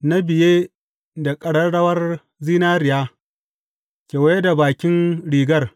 na biye da ƙararrawar zinariya kewaye da bakin rigar.